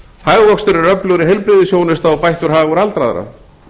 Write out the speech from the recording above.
hagvöxtur er öflugri heilbrigðisþjónusta og bættur hagur aldraðra